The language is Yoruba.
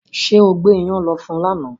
Ṣé o gbé ìyàn lọ fún lánàá